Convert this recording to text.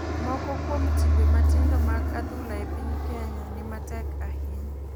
Moko kuom timbe matindo mag adhula e piny kenya ni matek ahinya